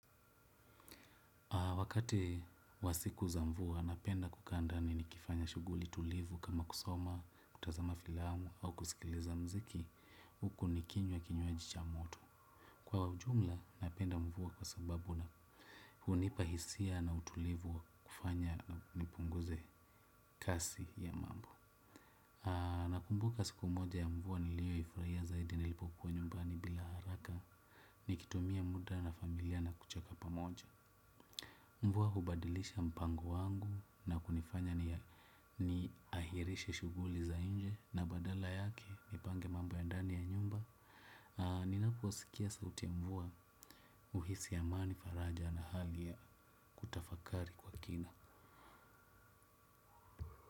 Wakati wa siku za mvua, napenda kukaa ndani nikifanya shughuli tulivu kama kusoma, kutazama filamu au kusikiliza muziki, huku nikinywa kinywaji cha moto. Kwa ujumla, napenda mvua kwa sababu hunipa hisia na utulivu kufanya na nipunguze kasi ya mambo. Nakumbuka siku moja ya mvua niliyoifurahia zaidi nilipopuwa nyumbani bila haraka, nikitumia muda na familia na kucheka pamoja. Mvua hubadilisha mpango wangu na kunifanya niahirishe shughuli za nje na badala yake nipange mambo ya ndani ya nyumba. Ninaposikia sauti mvua huhisi amani faraja na hali ya kutafakari kwa kina.